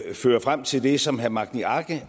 fører frem til det som herre magni arge